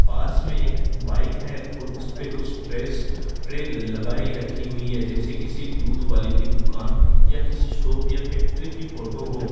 पास में एक बाइक है और उसपे कुछ ड्रेस ट्रे लगाई रखी हुई है जैसे किसी दूध वाले की दुकान या किसी शॉप या फैक्ट्री की फोटो हो।